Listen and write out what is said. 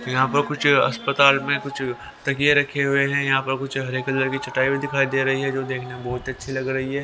यहां पर कुछ अस्पताल में कुछ तकिए रखे हुए हैं यहां पर कुछ हरे कलर की चटाई भी दिखाई दे रही है जो देखने में बहुत अच्छी लग रही है.